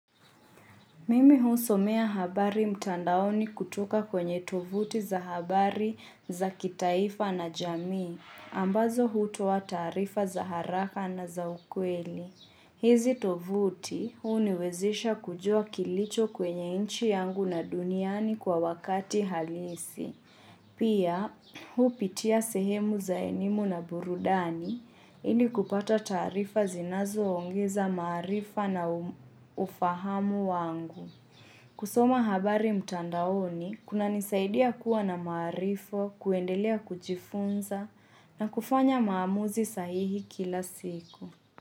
Mimi husomea habari mtandaoni kutoka kwenye tovuti za habari za kitaifa na jamii, ambazo hutoa taarifa za haraka na za ukweli. Hizi tovuti uniwezisha kujua kilicho kwenye inchi yangu na duniani kwa wakati halisi. Pia, hupitia sehemu za elimu na burudani ili kupata taarifa zinazoongeza maarifa na ufahamu wangu. Kusoma habari mtandaoni, kunanisaidia kuwa na maarifa, kuendelea kujifunza na kufanya maamuzi sahihi kila siku.